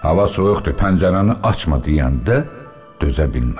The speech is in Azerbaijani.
Hava soyuqdur, pəncərəni açma deyəndə dözə bilmədim.